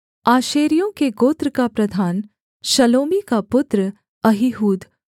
आशेरियों के गोत्र का प्रधान शलोमी का पुत्र अहीहूद